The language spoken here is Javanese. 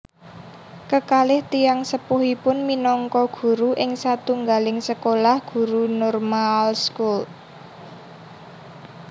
Kekalih tiyang sepuhipun minangka guru ing satunggaling sekolah guru Normaalschool